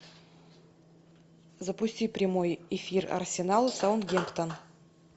запусти прямой эфир арсенал саутгемптон